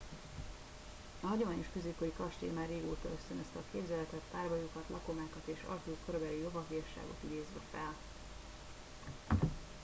a hagyományos középkori kastély már régóta ösztönözte a képzeletet párbajokat lakomákat és arthur korabeli lovagiasságot idézve fel